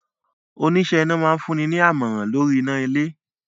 Oníṣẹ́ iná máa fún ni ní àmọ̀rà lóríi iná ilé.